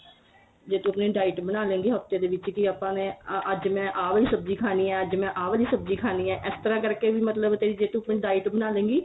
ਜੇ ਤੂੰ ਆਪਣੀ diet ਬਣਾ ਲੇ ਗੀ ਹਫਤੇ ਦੇ ਵਿੱਚ ਕੀ ਆਪਾਂ ਨੇ ਅੱਜ ਮੈਂ ਆ ਵਾਲੀ ਸਬਜੀ ਖਾਣੀ ਏ ਅੱਜ ਮੈਂ ਆ ਵਾਲੀ ਸਬਜੀ ਖਾਣੀ ਏ ਇਸ ਤਰ੍ਹਾਂ ਕਰਕੇ ਵੀ ਮਤਲਬ ਤੇਰੀ ਜੇ ਤੂੰ ਆਪਣੀ diet ਬਣਾ ਲੇ ਗੀ